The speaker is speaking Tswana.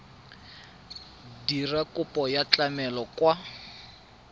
dira kopo ya tlamelo kwa